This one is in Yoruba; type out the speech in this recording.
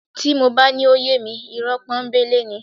Tí mo bá ní ó yé mi, ìrọ́ pọ́nńbélé ni